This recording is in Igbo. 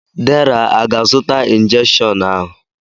Deraa aga-azụta injekshiọn ahụ?